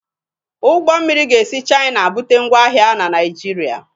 Ụgbọ mmiri ga-esi Chaina bute ngwa ahịa na Naijiria.